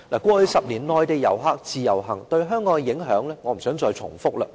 過去10年，內地遊客自由行對香港的影響，我不想再贅述。